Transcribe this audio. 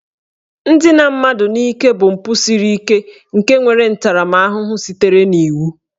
Ndina mmadụ n'ike bụ mpụ siri ike nke nwere ntaramahụhụ sitere n'iwu